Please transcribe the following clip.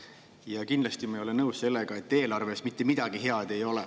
Ja kindlasti ma ei ole nõus sellega, et eelarves mitte midagi head ei ole.